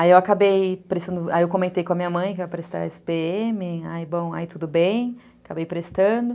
Aí eu comentei com a minha mãe que eu ia prestar esse pê eme, aí tudo bem, acabei prestando.